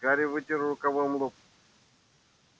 гарри вытер рукавом лоб